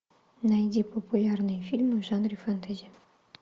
найди популярные фильмы в жанре фэнтези